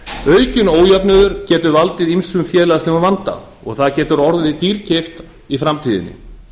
aukinn ójöfnuður getur valdið ýmsum félagslegum vanda og það getur orðið dýrkeypt í framtíðinni